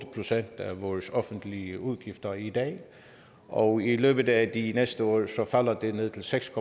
procent af vores offentlige udgifter i dag og i løbet af de næste år falder det ned til seks